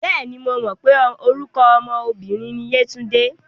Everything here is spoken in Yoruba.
Bẹ́ẹ̀ni, mo mọ̀ pé orúkọ ọmọ obìnrin ni Yétúndé.